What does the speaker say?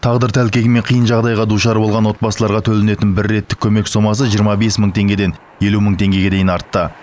тағдыр тәлкегімен қиын жағдайға душар болған отбасыларға төленетін бір реттік көмек сомасы жиырма бес мың теңгеден елу мың теңгеге дейін артты